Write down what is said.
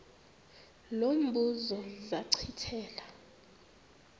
lo mbuzo zachithela